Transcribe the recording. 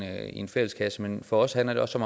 en fælleskasse men for os handler det også